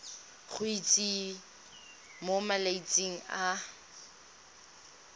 go itsise mo malatsing a